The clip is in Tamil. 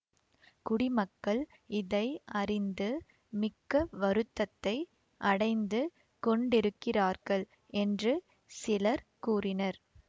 குடிமக்கள் இதை அறிந்து மிக்க வருத்தத்தை அடைந்து கொண்டிருக்கிறார்கள் என்று சிலர் கூறினர்